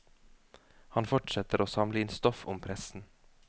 Han fortsetter å samle inn stoff om pressen.